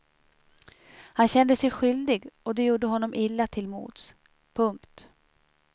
Han kände sig skyldig och det gjorde honom illa till mods. punkt